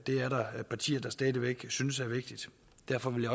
er partier der stadig synes er vigtigt derfor vil